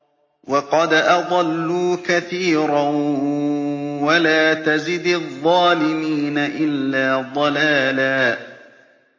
وَقَدْ أَضَلُّوا كَثِيرًا ۖ وَلَا تَزِدِ الظَّالِمِينَ إِلَّا ضَلَالًا